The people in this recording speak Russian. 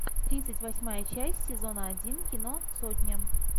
тридцать восьмая часть сезона один кино сотня